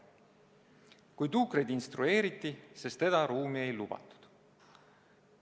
Kui tuukreid instrueeriti, siis teda ruumi ei lubatud.